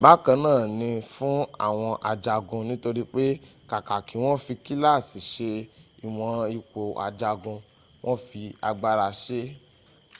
bákan na ni fún àwọn ajagun nítorí pẹ kàkà kí wọn fi kíláàsi sẹ ìwọ̀n ipò ajagun wọn fi agbára sẹ e